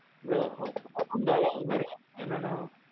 bro. Hondaல இத பாருங்க என்னன்னா,